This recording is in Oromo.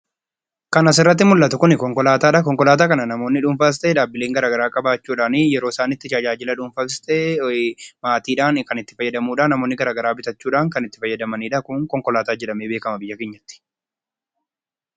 Kan asirratti mul'atu kun, konkolaataadha. konkolaataa kana namoonni dhuunfaas ta'ee dhaabbileen garaagaraa qabaachuudhaani yeroo isaan itti tajaajila dhuufaafis ta'ee maatiidhaan kan itti fayyamanidha. Namoonni garaagaraa bitachuudhaan kan itti fayyadamanidha. Kun konkolaataa jedhamee beekama biyya keenyatti.